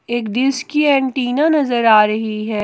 एक डिश की एंटिना नजर आ रही है।